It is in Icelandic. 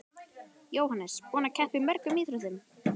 Jóhannes: Búinn að keppa í mörgum íþróttum?